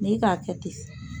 N'i k'a kɛ ten